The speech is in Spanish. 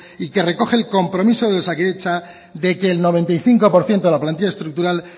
y que recoge el compromiso de osakidetza de que el noventa y cinco por ciento de la plantilla estructural